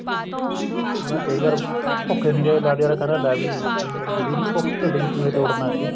ਹਣਾ ਕਈ ਵਾਰ ਭੁੱਖ ਐਨੀ ਜਿਆਦਾ ਅਗਲਾ ਕਹਿੰਦਾ ਲੈ ਵੀ ਰੋਟੀ ਮਿਲੀ ਨੀ ਢਿੱਡ ਵਿੱਚ ਚੂਹੇ ਦੋੜਨ ਲੱਗ ਗਏ